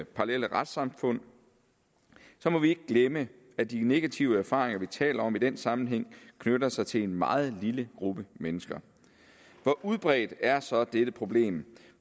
parallelle retssamfund må vi ikke glemme at de negative erfaringer vi taler om i den sammenhæng knytter sig til en meget lille gruppe mennesker hvor udbredt er så er dette problem